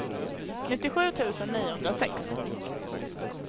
nittiosju tusen niohundrasex